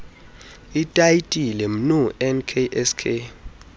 itayitile mnu nksk